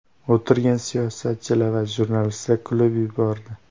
O‘tirgan siyosatchilar va jurnalistlar kulib yubordi.